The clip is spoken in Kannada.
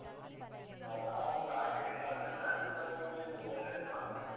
ಆ ನಾವು ಕೂಡ ಹಾಗೆಯೇ ಆದ್ರೆ ಜಾಸ್ತಿ ನಾವ್ veg ಇದ್ ಮಾಡ್ತೇವೆ.